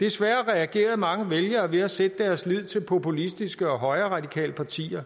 desværre reagerede mange vælgere ved at sætte deres lid til populistiske og højreradikale partier